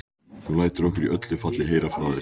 Þú lætur okkur í öllu falli heyra frá þér.